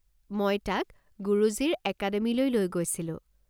মই তাক গুৰুজীৰ একাডেমিলৈ লৈ গৈছিলোঁ।